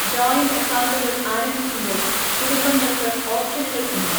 Joint അക്കൗണ്ടുകൾ ആരംഭിക്കുമ്പോൾ കുടുംബങ്ങൾക്ക് ഓപ്ഷനുകൾ ഉണ്ട്.